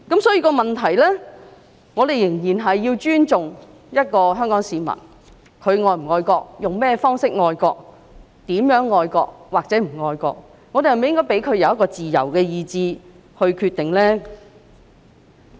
所以，我們仍然要尊重香港市民，他們是否愛國，用甚麼方式愛國，如何愛國或不愛國，我們是否應該給予市民自由意志來決定呢？